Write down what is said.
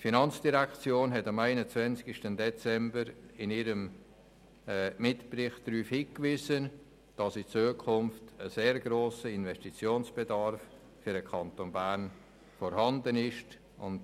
Die Finanzdirektion hat am 21. Dezember in ihrem Mitbericht darauf hingewiesen, dass in Zukunft ein sehr grosser Investitionsbedarf für den Kanton Bern vorhanden sein wird.